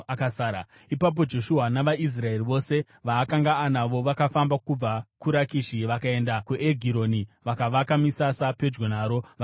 Ipapo Joshua navaIsraeri vose vaakanga anavo vakafamba kubva kuRakishi vakaenda kuEgironi, vakavaka misasa pedyo naro vakarirwisa.